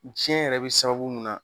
jiɲɛn yɛrɛ be sababu mun na